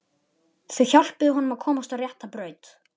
Þau hjálpuðu honum að komast á rétta braut.